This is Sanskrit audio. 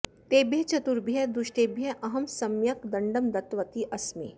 तेभ्यः चतुर्भ्यः दुष्टेभ्यः अहं सम्यक् दण्डं दत्तवती अस्मि